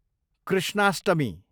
Krishnashtami